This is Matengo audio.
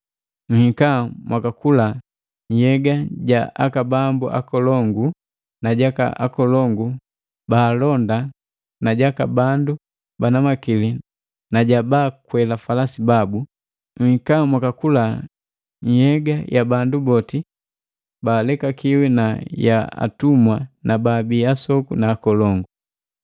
Nhika mwakakula nhyega ja aka bambu akolongu na jaka akolongu ba alonda na jaka bandu bana makili na ja falasi na ja baakwela falasi babu, nhika mwakakula nhyega ya bandu boti. Baalekakiwi na ya atumwa na baabi asoku na akolongu.”